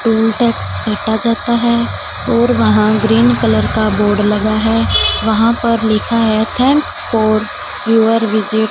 toll tax काटा जाता है और वहां ग्रीन कलर का बोर्ड लगा है वहां पर लिखा है थैंक्स फॉर योर विजिट --